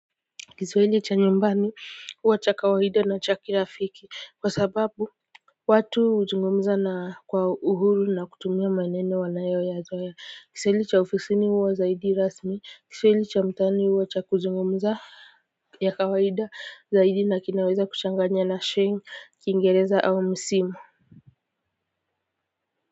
Kiswahili cha nyumbani huwa cha kawaida na cha kirafiki kwa sababu watu huzungumza na kwa uhuru na kutumia maneno wanayo yazoea Kiswahili cha ofisini huwa zaidi rasmi kiswahili cha mtaani huwa cha kuzungumza ya kawaida zaidi na kinaweza kuchanganya na sheng kiingereza au msimu.